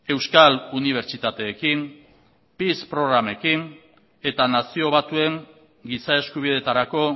euskal unibertsitateekin peace programekin eta nazio batuen giza eskubideetarako